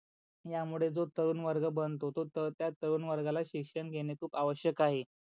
त्या मूळे जो तरुण वर्ग बनतो तो त्या तरुण वर्गा ला शिक्षण घेणे आवश्यक आहे.